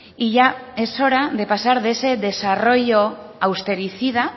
y ya es hora de pasar de ese desarrollo austericida